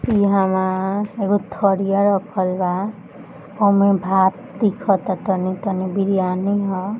इहंवा एगो थरिया रखल बा आ उमे भात दिखता तनी तनी बिरयानी ह |